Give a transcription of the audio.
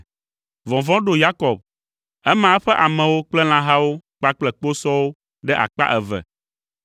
Vɔvɔ̃ ɖo Yakob. Ema eƒe amewo kple lãhawo kpakple kposɔwo ɖe akpa eve,